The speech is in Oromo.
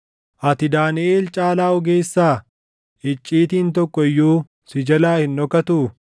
Ati Daaniʼel caalaa ogeessaa? Icciitiin tokko iyyuu si jalaa hin dhokatuu?